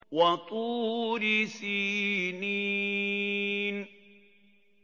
وَطُورِ سِينِينَ